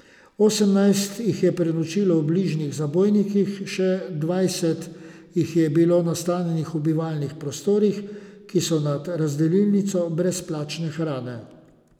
Osemnajst jih je prenočilo v bližnjih zabojnikih, še dvajset jih je bilo nastanjenih v bivalnih prostorih, ki so nad razdelilnico brezplačne hrane.